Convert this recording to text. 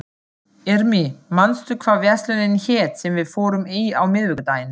Irmý, manstu hvað verslunin hét sem við fórum í á miðvikudaginn?